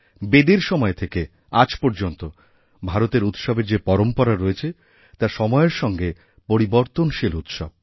বেদের সময় থেকে আজ পর্যন্ত ভারতে উৎসবের যে পরম্পরা রয়েছে তা সময়েরসঙ্গে পরিবর্তনশীল উৎসব